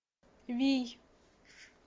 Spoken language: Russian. вий